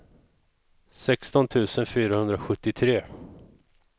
sexton tusen fyrahundrasjuttiotre